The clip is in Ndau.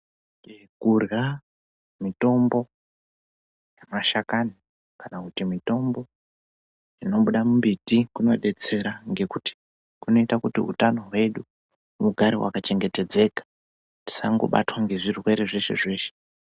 Kurya mitombo nemashakani kana kuti mitombo inobuda mumbiti kunobetsera. Ngekuti kunoita kuti utano hwedu hugare hwakachengetedzeka, tisangobatwa ngezvirwere zveshe-zveshe.